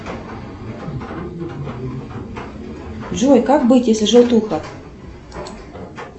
джой как быть если желтуха